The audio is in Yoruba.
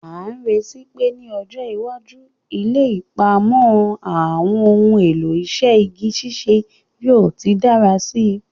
A n retí pe ni ọjọ́ iwájú, ilé ìpamọ́ àwọn ohun èlò iṣẹ́ igi ṣíṣe yóò ti dára síi.